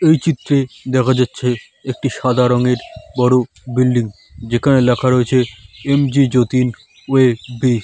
এই চিত্রে দেখা যাচ্ছে একটি সাদা রঙের বড়ো বিল্ডিং যেখানে লেখা রয়েছে এমজি যতীন ।